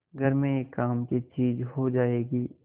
घर में एक काम की चीज हो जाएगी